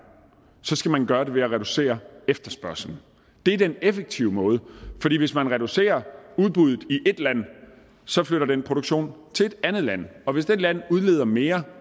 så skal man gøre det ved at reducere efterspørgslen det er den effektive måde hvis man reducerer udbuddet i et land så flytter den produktion til et andet land og hvis det land udleder mere